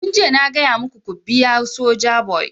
Tun jiya na gaya maku ku biya Sojaboy!